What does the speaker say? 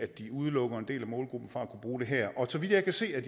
de udelukker en del af målgruppen fra at kunne bruge det her og så vidt jeg kan se er